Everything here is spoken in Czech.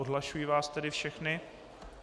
Odhlašuji vás tedy všechny.